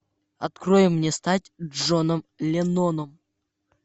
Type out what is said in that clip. открой мне стать джоном ленноном